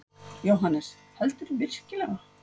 JÓHANNES: Heldurðu virkilega.